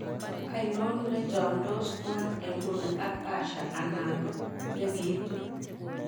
Ainon nechomndos' tuan inguni ak asha anan ko negiitun